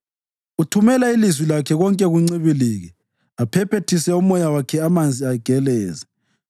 Uthumela ilizwi lakhe konke kuncibilike; aphephethise umoya wakhe amanzi ageleze.